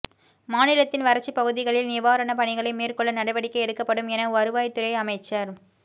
மாநிலத்தின் வறட்சிப் பகுதிகளில் நிவாரணப் பணிகளை மேற்கொள்ள நடவடிக்கை எடுக்கப்படும் என வருவாய்த் துறை அமைச்சர்